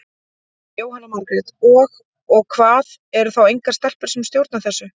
Jóhanna Margrét: Og, og hvað, eru þá engar stelpur sem stjórna þessu?